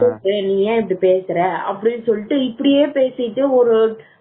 நீ சொல்லு நீ ஏன் இப்படி இப்படி பேசுற இப்படியே பேசிட்டு ஒரு five minits